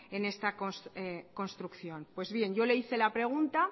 en esta construcción pues bien yo le hice la pregunta